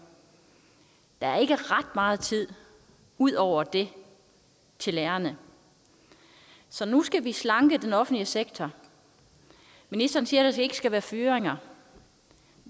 der er ikke ret meget tid ud over det til lærerne så nu skal vi slanke den offentlige sektor ministeren siger at der ikke skal være fyringer